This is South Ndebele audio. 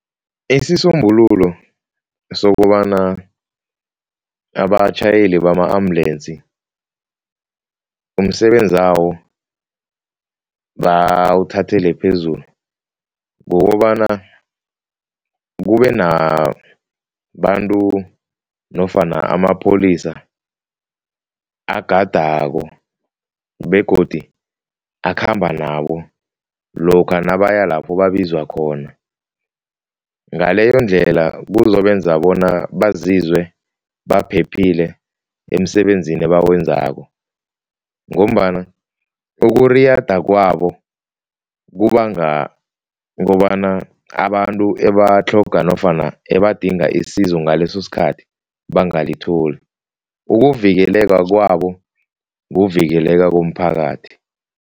Isisombululo sokobana abatjhayeli bama-ambulensi umsebenzawo bawuthathela phezulu kukobana kube nabantu nofana amapholisa agadako begodu akhamba nabo lokha nabaya lapho babizwa khona, ngaleyondlela kuzobenza bona bazizwe baphephile emsebenzini ebawenzako ngombana ukuriyada kwabo kubanga kobana abantu ebatlhoga nofana ebadinga isizo ngaleso sikhathi bangalithola. Ukuvikeleka kwabo kuvikeleka komphakathi.